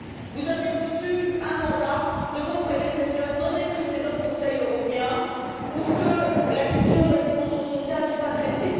Vous avez reçu un mandat de vos prédécesseurs dans des précédents Conseils européens pour que la question de la dimension sociale soit traitée.